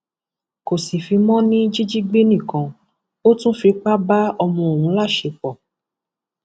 kò sì fi mọ ní jíjígbé nìkan ò tún fipá bá ọmọ ọhún láṣepọ